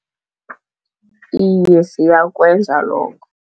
Iye, siyakwenza lokho.